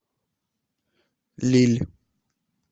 лилль